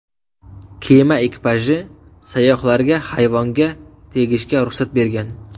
Kema ekipaji sayyohlarga hayvonga tegishga ruxsat bergan.